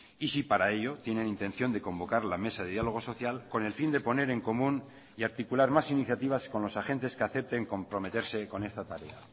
y si para ello tienen intención de convocar la mesa de diálogo social con el fin de poner en común y articular más iniciativas con los agentes que acepten comprometerse con esta tarea